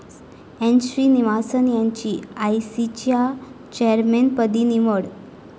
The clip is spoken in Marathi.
एन.श्रीनिवासन यांची आयसीसीच्या चेअरमनपदी निवड